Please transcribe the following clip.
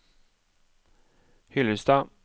Hyllestad